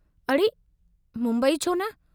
अड़े, मुंबई छो न?